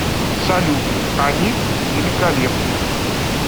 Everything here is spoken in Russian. салют они великолепны